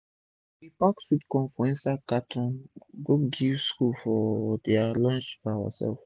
we bey pack sweet corn for inside cartoon go give school for dia lunch by oursef